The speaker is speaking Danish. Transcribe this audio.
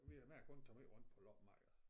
Vi mig og konen tager måj rundt på loppemarkeder